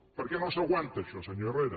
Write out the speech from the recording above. perquè no s’aguanta això senyor herrera